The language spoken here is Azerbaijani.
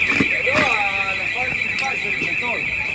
Yəni nə qədər tək yerdə olur?